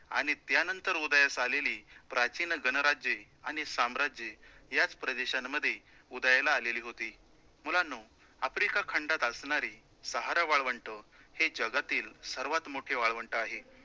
आणि त्यानंतर उदयास आलेली, प्राचीन गणराज्ये आणि साम्राज्ये याच प्रदेशांमध्ये उदयाला आलेली होती. मुलांनो, आफ्रिका खंडात असणारी सहारा वाळवंट हे जगातील सर्वात मोठे वाळवंट आहे.